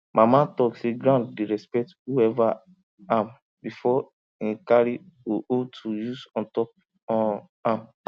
mama talk say ground dey respect whoever am before him carry hoe hoe to use ontop um am